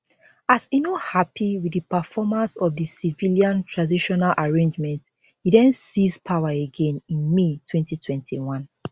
as e no happy wit di performance of di civilian transitional arrangement e den seize power again in may 2021